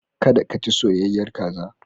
Kada ka ci soyayyar kaza.